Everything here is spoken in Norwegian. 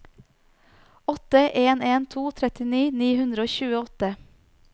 åtte en en to trettini ni hundre og tjueåtte